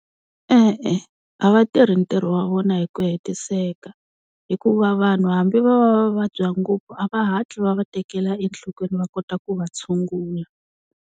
E-e a va tirhi ntirho wa vona hi ku hetiseka, hikuva vanhu hambi va va va vabya ngopfu a va hatli va va tekela enhlokweni va kota ku va tshungula.